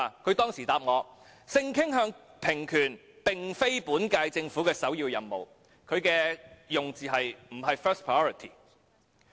她當時回答我說性傾向平權並非本屆政府的首要任務，她的用詞是"不是 first priority"。